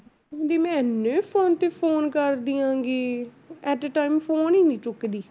ਵੀ ਮੈਂ ਇੰਨੇ phone ਤੇ phone ਕਰ ਦਿਆਂਗੀ at a time phone ਹੀ ਨੀ ਚੁੱਕਦੀ।